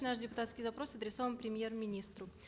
наш депутатский запрос адресован премьер министру